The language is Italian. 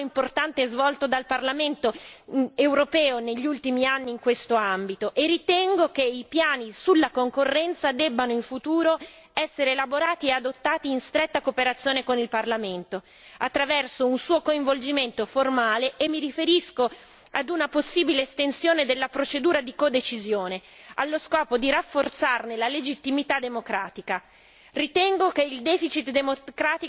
Voglio in particolare sottolineare però il ruolo importante svolto dal Parlamento europeo negli ultimi anni in questo ambito e ritengo che i piani sulla concorrenza debbano in futuro essere elaborati e adottati in stretta cooperazione con il Parlamento, attraverso un suo coinvolgimento formale e mi riferisco a una possibile estensione della procedura di codecisione, allo scopo di rafforzarne la legittimità democratica.